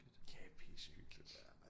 Ja pissehyggeligt